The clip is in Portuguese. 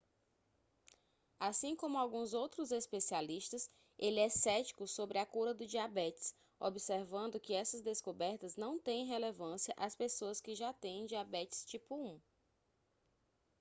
assim como alguns outros especialistas ele é cético sobre a cura do diabetes observando que essas descobertas não têm relevância às pessoas que já têm diabetes tipo 1